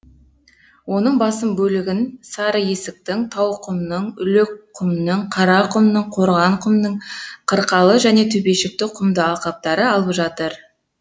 оның басым бөлігін сарыесіктің тауқұмның лөкқұмның қарақұмның қорғанқұмның қырқалы және төбешікті құмды алқаптары алып жатыр